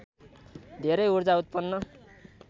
धेरै ऊर्जा उत्पन्न